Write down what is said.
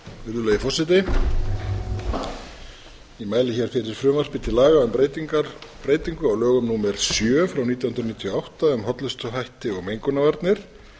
virðulegi forseti ég mæli hér fyrir frumvarpi til laga um breytingu á lögum númer sjö nítján hundruð níutíu og átta um hollustuhætti og mengunarvarnir